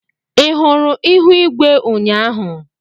Ị hụrụ ihu igwe ụnyaahụ?